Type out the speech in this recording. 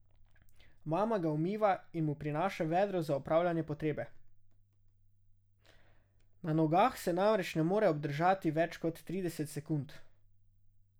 Mama ga umiva in mu prinaša vedro za opravljanje potrebe, na nogah se namreč ne more obdržati več kot trideset sekund.